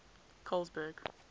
colesberg